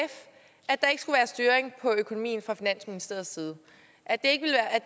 at styring på økonomien fra finansministeriets side og at det